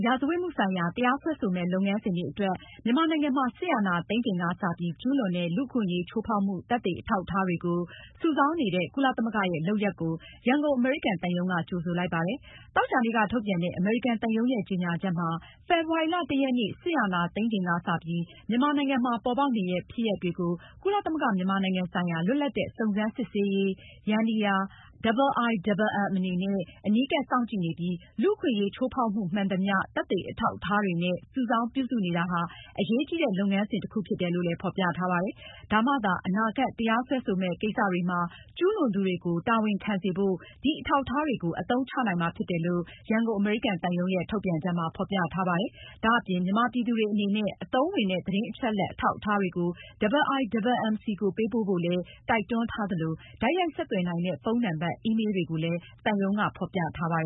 ရာဇဝတ်မှုဆိုင်ရာ နောင်မှာ တရားစွဲဆိုမယ့် လုပ်ငန်းစဉ်တွေအတွက် မြန်မာနိုင်ငံမှာ စစ်အာဏာသိမ်းချိန်ကစပြီး ကျူးလွန်တဲ့ လူ့အခွင့်အရေးချိုးဖောက်မှု သက်သေအထောက်အထားတွေ စုဆောင်းနေတဲ့ ကုလသမဂ္ဂရဲ့လုပ်ရပ်ကို ရန်ကုန်အမေရိကန်သံရုံးက ကြိုဆိုလိုက်ပါတယ်။ သောကြာနေ့က ထုတ်ပြန်တဲ့ အမေရိကန်သံရုံးရဲ့ ကြေညာချက်မှာ- ဖေဖေါ်ဝါရီလ (၁)ရက်နေ့ စစ်အာဏာသိမ်းချိန်က စပြီး မြန်မာနိုင်ငံမှာ ပေါ်ပေါက်နေတဲ့ ဖြစ်ရပ်တွေကို ကုလသမဂ္ဂ မြန်မာနိုင်ငံဆိုင်ရာ လွတ်လပ်တဲ့ စုံစမ်းစစ်ဆေးမှုယန္တရား (IIMM) အနေနဲ့အနီးကပ်စောင့်ကြည့်နေပြီး၊ လူ့အခွင့်အရေး ကျူးလွန်ချိုးဖောက်မှုမှန်သမျှ သက်သေအထောက်အထားတွေနဲ့ စုဆောင်းပြုစုနေတာဟာ အရေးကြီးတဲ့ လုပ်ငန်းစဉ်တခုဖြစ်တယ်လို့ ဖေါ်ပြထားပါတယ်။ ဒါမှသာ အနာဂတ် တရားစွဲဆိုမယ့် ကိစ္စတွေမှာ ကျူးလွန်သူတွေကို တာဝန်ခံစေဖို့ ဒီအထောက်အထားတွေကို အသုံးချနိုင်မှာဖြစ်တယ်လို့ ရန်ကုန် အမေရိကန်သံရုံးရဲ့ ထုတ်ပြန်ချက်မှာ ဖေါ်ပြထားပါတယ်။ ဒါအပြင် မြန်မာပြည်သူတွေအနေနဲ့ အသုံးဝင်တဲ့ သတင်းအချက်အလက် အထောက်အထားတွေကို IIMM ဆီကိုပေးပို့ဖို့လည်း တိုက်တွန်းထားသလို တိုက်ရိုက်ဆက်သွယ်နိုင်တဲ့ ဖုန်းနံပါတ်၊ အီးမေးလ်တွေကို သံရုံးက ဖေါ်ပြထားပါ